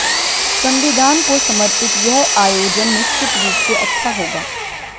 संविधान को समर्पित यह आयोजन निश्चित रूप से अच्छा होगा